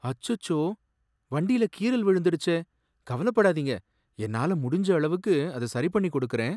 அச்சச்சோ, வண்டில கீறல் விழுந்துடுச்சே! கவலைப்படாதீங்க, என்னால முடிஞ்ச அளவுக்கு அதை சரிபண்ணிக் குடுக்கறேன்.